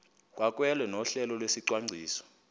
kwamkelwe nohlelo lwesicwangciso